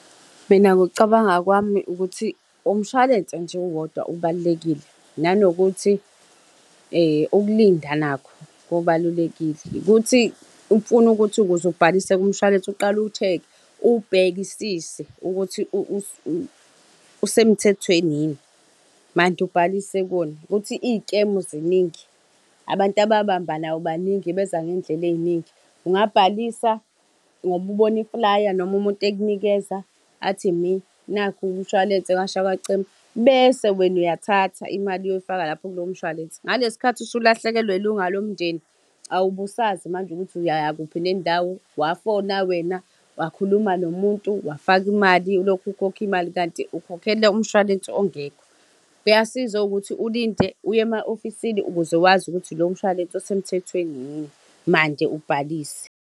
Mina ngokucabanga kwami ukuthi umshwalense nje uwodwa ubalulekile, nanokuthi ukulinda nakho kubalulekile. Ukuthi kufuna ukuthi ukuze ubhalise kumshwalense uqale uwushekhe, uwubhekisise ukuthi usemthethweni yini. Mande ubhalise kuwona, ukuthi iy'kemu ziningi. Abantu ababambanayo baningi, beza ngey'ndlela ey'ningi. Ungabhalisa ngoba ubona iflaya noma umuntu ekunikeza athi mina nakhu umshwalense kwasha kwacima, bese wena uyathatha imali uyoyifaka lapho kulowo mshwalense. Ngalesi sikhathi usulahlekelwe ilunga lomndeni, awubusazi manje ukuthi uyaya kuphi nendawo. Wafona wena, wakhuluma nomuntu, wafaka imali ulokhu ukhokha imali, kanti ukhokhele umshwalense ongekho. Kuyasiza ukuthi ulinde, uye ema-ofisini ukuze wazi ukuthi lowo mshwalense usemthethweni yini, mande ubhalise.